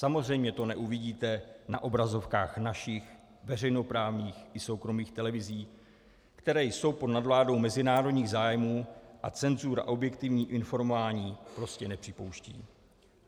Samozřejmě to neuvidíte na obrazovkách našich veřejnoprávních ani soukromých televizí, které jsou pod nadvládou mezinárodních zájmů, a cenzura objektivní informování prostě nepřipouští.